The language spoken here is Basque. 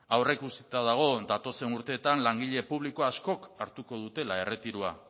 aurreikusita dago datozen urteetan langile publiko askok hartuko dutela erretiroa